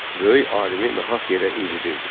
Böyük alimi nahaq yerə incidirdi.